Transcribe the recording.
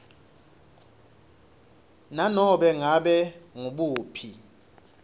nanobe ngabe ngubuphi